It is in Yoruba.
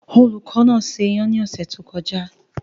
Olùkọ́ náà se iyan ní oṣù tó kọjá.